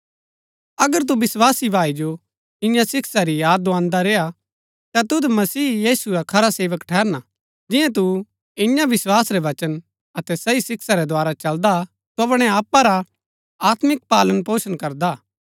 अगर तू विस्वासी भाई जो इआं शिक्षा री याद दोआन्‍दा रेय्आ ता तुद मसीह यीशु रा खरा सेवक ठहरना जिन्या तू इन्या विस्वास रै वचना अतै सही शिक्षा रै द्धारा चलदा हा तू अपणै आपा रा आत्मिक पालन पोषण करदा हा